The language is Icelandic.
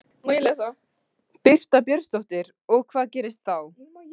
Birta Björnsdóttir: Og hvað gerist þá?